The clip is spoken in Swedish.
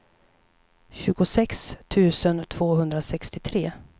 tjugosex tusen tvåhundrasextiotre